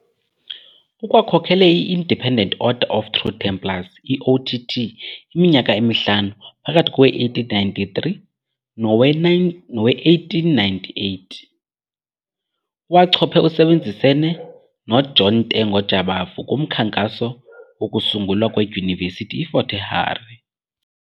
Ukwakhokele i-Independent Order of True Templars, IOTT, iminyaka emihlanu phakathi kowe-1893 nowe-1898. UWauchope ukwasebenzisene no"John Tengo Jabavu" kumkhankaso wokusungulwa kweDyunivesithi i"Fort Hare".